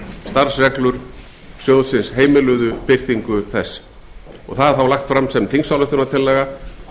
starfsreglur sjóðsins heimiluðu birtingu hennar það er þá lagt fram sem þingsályktunartillaga